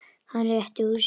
Hann rétti úr sér.